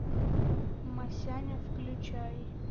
масяня включай